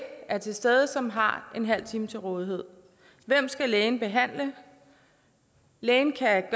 til stede som har en halv time til rådighed hvem skal lægen behandle lægen kan